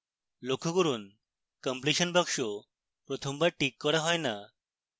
লক্ষ্য করুন completion বাক্স প্রথমবার টিক করা হয় না